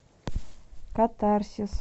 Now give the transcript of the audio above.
катарсис